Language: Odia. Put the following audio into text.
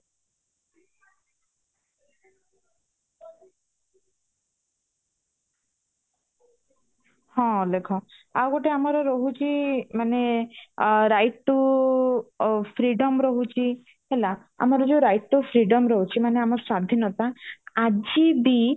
ହଁ ଅଲେଖ ଆଉ ଗୋଟେ ଆମର ରହୁଛି ମାନେ ଅ right to freedom ରହୁଛି ହେଲା ଆମର ଯୋଉ right to freedom ରହୁଛି ମାନେ ଆମ ସ୍ଵାଧୀନତା ଆଜିବି